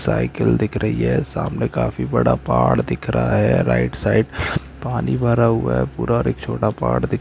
Cycle दिख रही है सामने काफी बड़ा पहाड़ दिख रहा है राइट साइक पानी भरा हुआ पूरा और एक छोटा पहाड़ दिख रहा है।